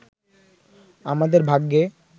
আমাদের ভাগ্যে